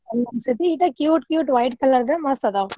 cute cute white color ದ್ ಮಸ್ತ್ ಅದಾವ.